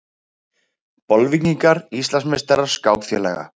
Bolvíkingar Íslandsmeistarar skákfélaga